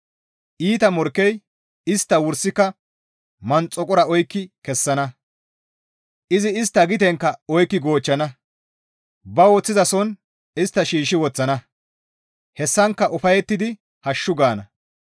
Iita morkkey istta wursika manxakora oykki kessana; izi istta gitenkka oykki goochchana; ba woththizason istta shiishshi woththana; hessankka ufayettidi hashshu gaana.